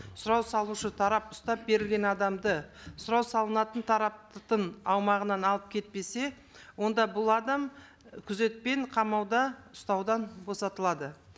сұрау салушы тарап ұстап берілген адамды сұрау салынатын тараптың аумағынан алып кетпесе онда бұл адам күзетпен қамауда ұстаудан босатылады